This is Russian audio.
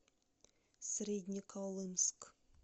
среднеколымск